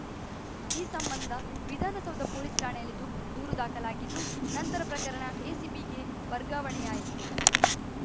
ಈ ಸಂಬಂಧ ವಿಧಾನಸೌಧ ಪೊಲೀಸ್‌ ಠಾಣೆಯಲ್ಲಿ ದೂಕು ದೂರು ದಾಖಲಾಗಿದ್ದು ನಂತರ ಪ್ರಕರಣ ಎಸಿಬಿಗೆ ವರ್ಗಾವಣೆಯಾಯಿತು